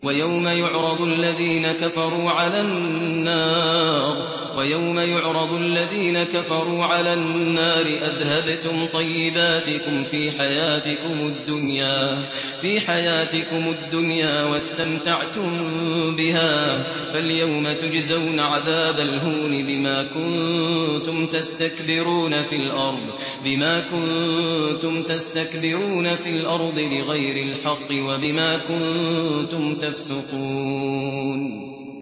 وَيَوْمَ يُعْرَضُ الَّذِينَ كَفَرُوا عَلَى النَّارِ أَذْهَبْتُمْ طَيِّبَاتِكُمْ فِي حَيَاتِكُمُ الدُّنْيَا وَاسْتَمْتَعْتُم بِهَا فَالْيَوْمَ تُجْزَوْنَ عَذَابَ الْهُونِ بِمَا كُنتُمْ تَسْتَكْبِرُونَ فِي الْأَرْضِ بِغَيْرِ الْحَقِّ وَبِمَا كُنتُمْ تَفْسُقُونَ